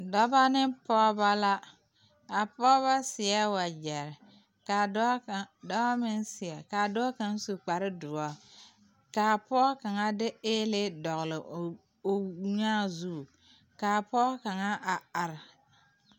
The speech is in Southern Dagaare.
Dɔbɔ ne pɔɔbɔ la a pɔɔbɔ seɛ wagyɛre kaa dɔɔ kaŋ dɔɔ meŋ seɛ kaa dɔɔ kaŋ su kparedoɔ kaa pɔɔ kaŋa de ēēlee dɔgle o nyaa zu kaa pɔɔ kaŋa a are.